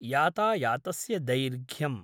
यातायातस्य दैर्घ्यम्।